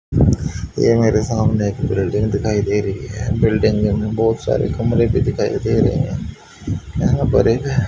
ये मेरे सामने एक बिल्डिंग दिखाई दे रही है बिल्डिंग में बहुत सारे कमरे भी दिखाई दे रहे हैं यहां पर एक--